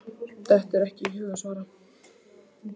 Dettur ekki í hug að svara.